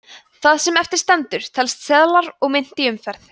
það sem eftir stendur telst seðlar og mynt í umferð